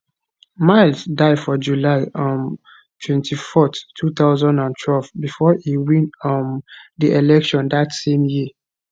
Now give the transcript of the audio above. mills die for july um 24th 2012 before e win um di election dat same year